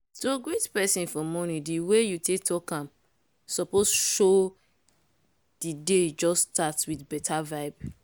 to greet person for morning the way you take talk am suppose show say the day just start with better vibe.